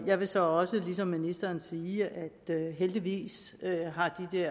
jeg vil så ligesom ministeren også sige at heldigvis